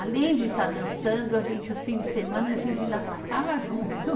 Além de estar dançando, a gente, os fins de semana, a gente ainda passava junto.